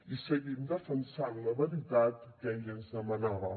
i seguim defensant la veritat que ell ens demanava